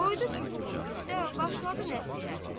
Qoydu çubuğun üstə, başladı nəsihətə.